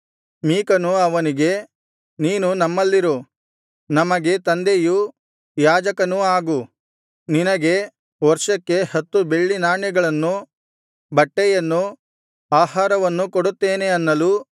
ಮೀಕನು ಅವನಿಗೆ ನೀನು ನಮ್ಮಲ್ಲಿರು ನಮಗೆ ತಂದೆಯೂ ಯಾಜಕನೂ ಆಗು ನಿನಗೆ ವರ್ಷಕ್ಕೆ ಹತ್ತು ಬೆಳ್ಳಿ ನಾಣ್ಯಗಳನ್ನೂ ಬಟ್ಟೆಯನ್ನೂ ಆಹಾರವನ್ನೂ ಕೊಡುತ್ತೇನೆ ಅನ್ನಲು